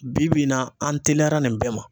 Bi bi in na, an telera nin bɛɛ ma.